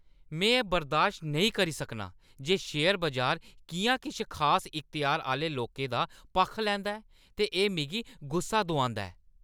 में एह् बर्दाश्त नेईं करी सकनां जे शेयर बजार किʼयां किश खास इख्तेयार आह्‌ले लोकें दा पक्ख लैंदा ऐ ते एह् मिगी गुस्सा दोआंदा ऐ।